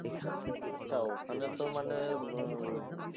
আচ্ছা ওখানে তো মানে উহ উম